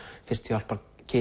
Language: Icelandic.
fyrstu hjálpar